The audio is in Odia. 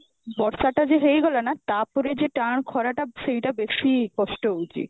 ବର୍ଷା ଟା ଯଉ ହେଇଗଲା ନା ତାପରେ ଯେ ଟାଣ ଖରାଟା ସେଇଟା ବେସି କଷ୍ଟ ହଉଛି